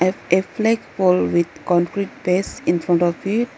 A-a flag pole with concrete base in front of it.